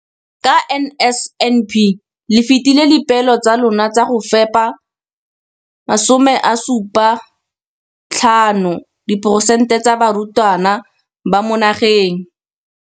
Ka NSNP le fetile dipeelo tsa lona tsa go fepa masome a supa le botlhano a diperesente ya barutwana ba mo nageng.